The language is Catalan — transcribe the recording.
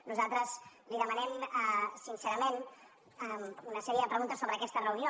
nosaltres li demanem sincerament una sèrie de preguntes sobre aquesta reunió